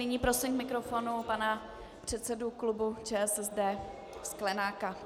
Nyní prosím k mikrofonu pana předsedu klubu ČSSD Sklenáka.